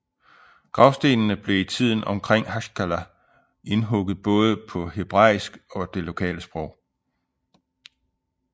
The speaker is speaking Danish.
Gravstenene blev i tiden omkring Haskalah indhugget både på hebraisk og det lokale sprog